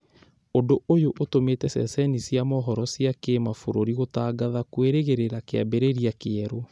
Ũndũ ũyũ ũtũmĩte ceceni cia mohoro cia kĩmabũrũri gũtangatha kwĩrĩgĩrĩra kĩambĩrĩria kĩerũ